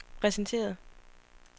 præsenteret